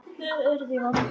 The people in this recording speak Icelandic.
Þið eruð í vanda.